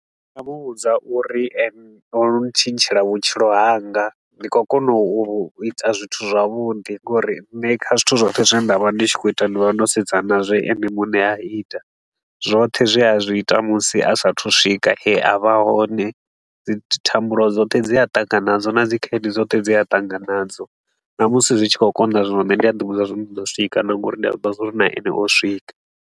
Ndi nga mu vhudza uri ene o ntshintshela vhutshilo hanga, ndi khou kona u ita zwithu zwavhuḓi ngori nṋe kha zwithu zwoṱhe zwine nda vha ndi tshi khou ita, ndi vha ndo sedza na zwe ene muṋe a ita. Zwoṱhe zwe a zwi ita musi a sa a thu u swika hune a vha hone, dzi thambulo dzoṱhe dze a ṱangana nadzo na dzi khaedu dzoṱhe dze a ṱangana nadzo, na musi zwi tshi khou konḓa zwino, nne ndi a ḓi vhudza zwa uri ndi ḓo swika nga uri ndi a zwi ḓivha zwa uri na ene o swika.